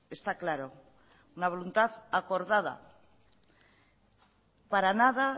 está claro una voluntad acordada para nada